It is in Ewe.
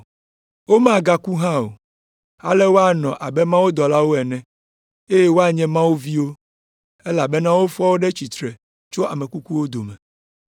Womagaku hã o, ale woanɔ abe mawudɔlawo ene, eye woanye Mawu viwo, elabena wofɔ wo ɖe tsitre tso ame kukuwo dome.